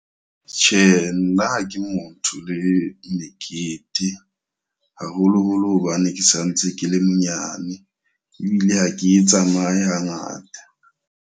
Tjhe, nna ha ke mo ntho le mekete. Haholoholo hobane ke sanetse ke le monyane. Ebile ha ke e tsamaye ha ngata.